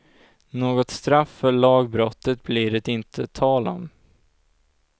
Något straff för lagbrottet blir det inte tal om.